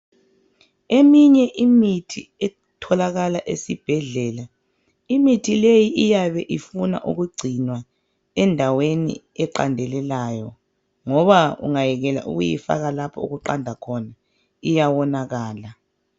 Eminye imithi etholakala esibhedlela imithi leyo iyabe ifuna ukungcinwa endaweni eqandelelayo ngoba ungayekela ukuyifaka lapho okuqanda khona iyawonakala.